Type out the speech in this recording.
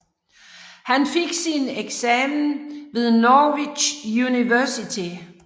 Han fik sin eksamen ved Norwich University